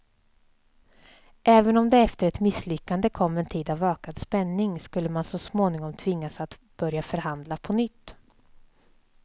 Även om det efter ett misslyckande kom en tid av ökad spänning skulle man så småningom tvingas att börja förhandla på nytt.